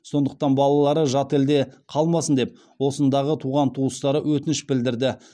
сондықтан балалары жат елде қалмасын деп осындағы туған туыстары өтініш білдірді